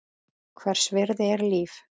Hvers virði er líf?